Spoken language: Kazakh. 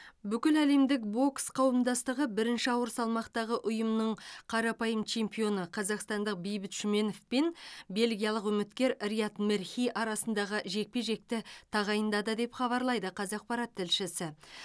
бүкіләлемдік бокс қауымдастығы бірінші ауыр салмақтағы ұйымның қарапайым чемпионы қазақстандық бейбіт шүменов пен бельгиялық үміткер рияд мерхи арасындағы жекпе жекті тағайындады деп хабарлайды қазақпарат тілшісі